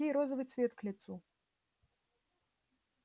ей розовый цвет к лицу